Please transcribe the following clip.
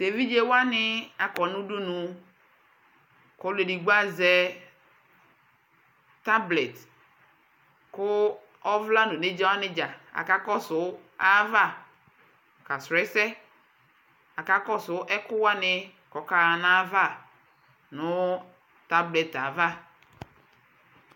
tʋ ɛvidzɛ wani akɔ nʋ ʋdʋnʋ kʋ ɔlʋ ɛdigbɔ azɛ tablet kʋ ɔvla nʋ ɔnɛdza wani dza akakɔsʋ ayi aɣa ka srɔ ɛsɛ, akakɔsʋ ɛkuwani kʋ ɔkaa nʋ aɣa nʋ tabletɛ aɣa